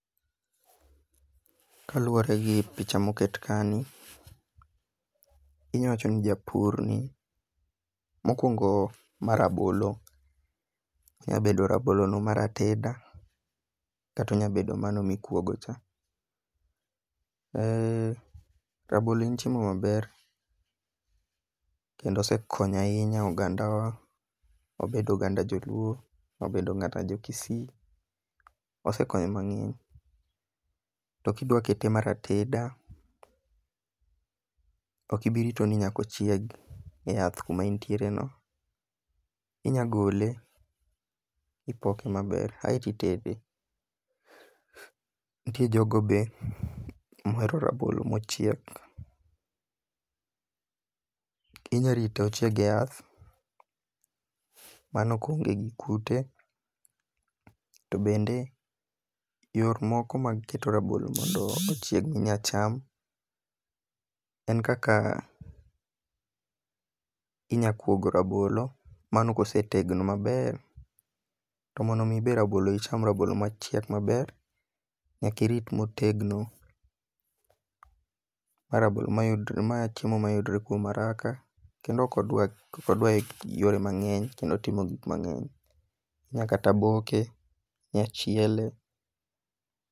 Kaluwore gi pich moket ka ni, inya wacho ni japur ni. mokwongo ma rabolo. Onya bedo rabolo no mar ateda. Kata onya bedo mano mikwogo cha. Rabolo en chiemo maber kendo osekonyo ahinya oganda wa. Obedo oganda joluo, obedo kata jo kisii. Osekonyo mang'eny. To kidwa kete mar ateda, ok ibirito ni nyaka ochiegi e yath kuma entiere no. Inya gole ipoke maber aito itede. Nitie jogo be mohero rabolo mochiek. Inya rite ochieg e yath mano ko oonge gi kute. To bende yor moko mag kedo rabolo ochiegi minya cham en kaka inya kuogo rabolo. Mano kosetegno maber. To mondo mi be rabolo icham rabolo mochiek maber nyaka irit motegno. Ma rabolo ma chiemo mayudore kuom haraka kendo ok odwar yore mang'eny kendo timo gik mang'eny. Inya kata boke, inya chiele.